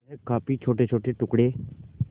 वह काफी छोटेछोटे टुकड़े